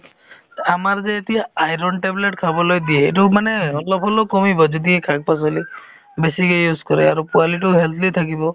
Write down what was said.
to আমাৰ যে এতিয়া iron tablet খাব লাগে ‌ এইটো মানে অলপ হ'লেও কমিব যদি শাক-পাচলি বেছিকে use কৰে আৰু পোৱালিটোও healthy থাকিব